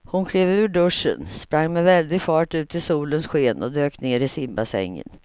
Hon klev ur duschen, sprang med väldig fart ut i solens sken och dök ner i simbassängen.